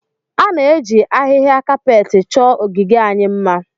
A na-eji ahịhịa kapetị chọọ ogige anyị mma